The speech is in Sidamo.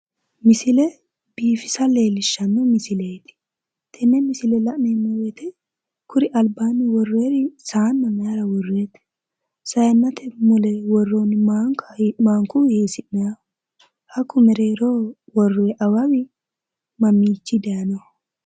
Misile biifisa leellishshanno misileeti. tenne misile la'neemmo woyiite kuri albaanni worroyiiri saanna maayiira worroyiite? saayiinnate mule worroonni maanki hiissi'nayiiho? hakku mereeroho worroyi awawi mamiinni daayiinoho.